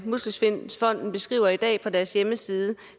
muskelsvindfonden beskriver i dag på deres hjemmeside